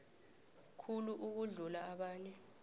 khulu ukudlula abanye